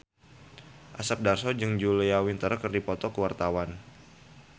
Asep Darso jeung Julia Winter keur dipoto ku wartawan